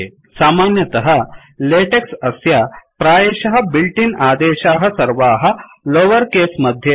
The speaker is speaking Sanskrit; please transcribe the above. सामान्यतः लेटेक्स् अस्य प्रायशः बिल्ट् इन् आदेशाः सर्वाः लोवर् केस् मध्ये एव सन्ति